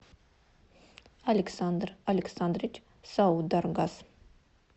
александр александрович саударгас